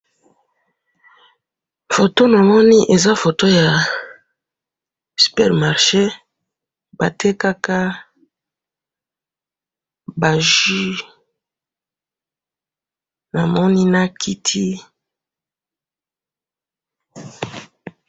Foto namoni eza foto ya super marcher, batekaka ba jus, namoni na kiti.